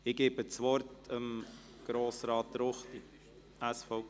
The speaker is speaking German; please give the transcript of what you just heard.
Ich erteile das Wort Grossrat Ruchti, SVP.